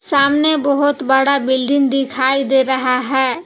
सामने बहुत बड़ा बिल्डिंग दिखाई दे रहा है।